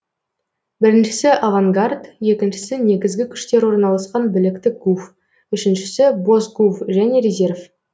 біріншісі авангард екіншісі негізгі күштер орналасқан біліктік гуф үшіншісі бос гуф және резерв